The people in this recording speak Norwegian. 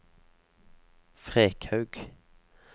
Frekhaug